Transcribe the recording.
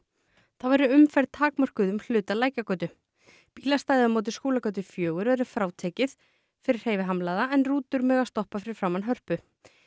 þá verður umferð takmörkuð um hluta Lækjargötu bílastæðið á móti Skúlagötu fjögur verður frátekið fyrir hreyfihamlaða en rútur mega stoppa fyrir framan Hörpu